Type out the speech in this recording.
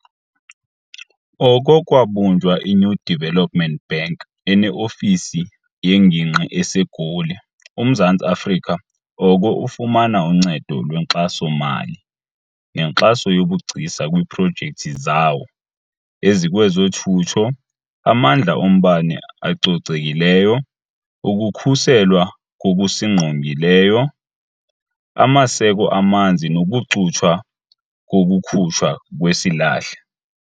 Oko kwabunjwa i-New Development Bank, ene-ofisi yengingqi eseGoli, uMzantsi Afrika oko ufumana uncedo lwenkxaso-mali nenkxaso yobugcisa kwiiprojekthi zawo ezikwezothutho, amandla ombane acocekileyo, ukukhuselwa kokusingqongileyo, amaseko amanzi nokucuthwa kokukhutshwa kwesilahle.